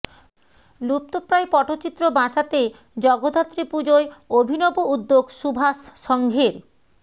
লুপ্তপ্রায় পটচিত্র বাঁচাতে জগদ্ধাত্রী পুজোয় অভিনব উদ্যোগ সুভাষ সঙ্ঘের